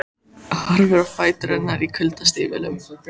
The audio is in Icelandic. Horfir á fætur hennar í kuldastígvélum.